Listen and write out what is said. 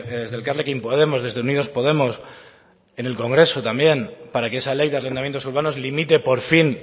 desde elkarrekin podemos desde unidos podemos en el congreso también para que esa ley de arrendamientos urbanos limite por fin